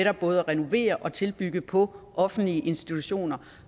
at både renovere og tilbygge på offentlige institutioner